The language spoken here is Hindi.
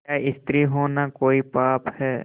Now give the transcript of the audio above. क्या स्त्री होना कोई पाप है